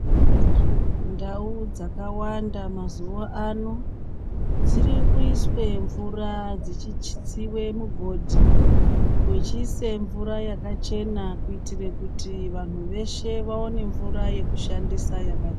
Ndau dzakawanda mazuwa ano dziri kuiswe mvura dzichitsiwe mugodhi kuchise mvura yakachena kuitire kuti vanhu veshe vaone mvura yekushandisa yaka.